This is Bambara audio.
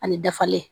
Ani dafalen